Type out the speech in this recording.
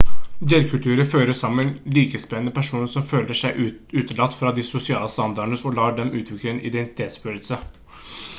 delkulturer fører sammen likesinnede personer som føler seg utelatt fra de sosiale standardene og lar dem utvikle en identitetsfølelse